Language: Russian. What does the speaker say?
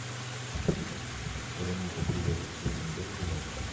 вероника привет ты сегодня идёшь гулять